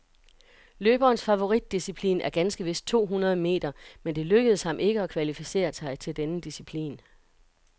Løberens favoritdisciplin er ganske vist to hundrede meter, men det lykkedes ham ikke at kvalificere sig til denne disciplin.